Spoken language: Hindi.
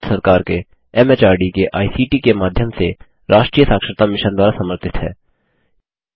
यह भारत सरकार के एमएचआरडी के आईसीटी के माध्यम से राष्ट्रीय साक्षरता मिशन द्वारा समर्थित है